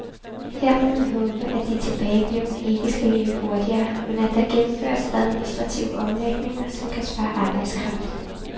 Her må man håbe, at de tilbageblevne ikke skal løbe hurtigere, men at der gennemføres administrative omlægninger, som kan spare arbejdskraft.